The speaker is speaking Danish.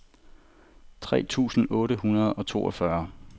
tres tusind otte hundrede og toogfyrre